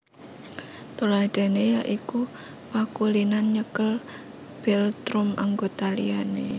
Tuladhané ya iku pakulinan nyekel philtrum anggota liyane